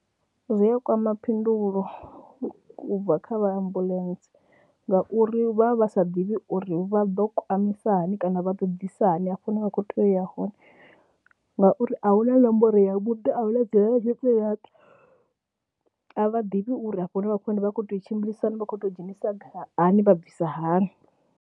Zwi a kwama phindulo u bva kha vha ambuḽentse ngauri vha vha vha sa ḓivhi uri vha ḓo kwamisa hani kana vha ḓo ḓisa hani hafho hune vha kho tea u ya hone ngauri a hu na nomboro yavhuḓi a u hu na a vha ḓivhi uri afho hune vha khou ya hone vha khou tea u tshimbilisa hani, vha khou tou dzhenisiwa hani vha bvisa hani.